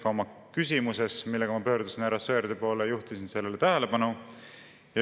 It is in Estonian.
Ka oma küsimuses, millega ma pöördusin härra Sõerdi poole, juhtisin sellele tähelepanu.